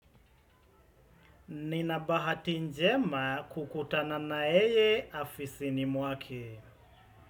Nina bahati njema kukutana na yeye afisini mwake.